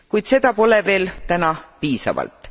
Kuid seda pole veel täna piisavalt.